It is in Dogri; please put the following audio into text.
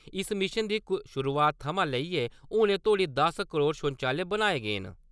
इस मिशन दी शुरुआत थमां लेइयै हुनै तोड़ी दस करोड़ शौचालय बनाए गे न ।